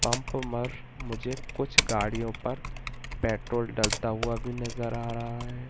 Pump मर मुझे कुछ गाड़ियों पर पेट्रोल डालता हुआ भी नजर आ रहा है।